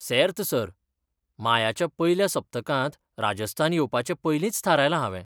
सेर्त, sir. मायाच्या पयल्या सप्तकांत राजस्थान येवपाचें पयलींच थारायलां हावें.